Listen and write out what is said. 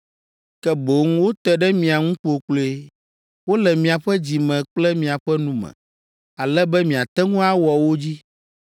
Ke boŋ wote ɖe mia ŋu kpokploe, wole miaƒe dzi me kple miaƒe nu me, ale be miate ŋu awɔ wo dzi.